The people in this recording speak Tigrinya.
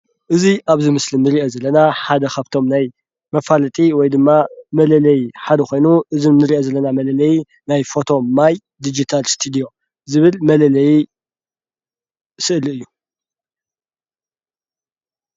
እዚ ኣብዚ ምስሊ ንሪኦ ዘለና ሓደ ካብቶም ናይ መፋለጢ ወይ ድማ መላለዪ ሓደ ኾይኑ እዚ ንሪኦ ዘለና መለለዪ ናይ ፎቶ ማይ ዲጂታል ስቱድዮ ዝብል መለለዪ ስእሊ እዩ፡፡